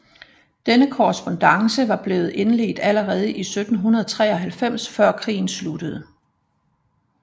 Denne korrespondance var blevet indledt allerede i 1793 før krigen sluttede